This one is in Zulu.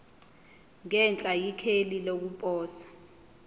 ngenhla ikheli lokuposa